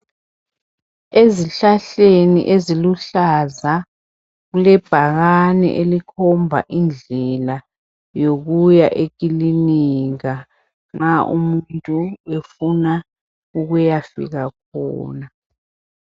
Ezihlahleni eziluhlaza kulebhakane elikhomba indlela yokuya ekilinika nxa umuntu efuna ukuyafika khona.